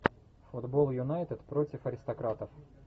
футбол юнайтед против аристократов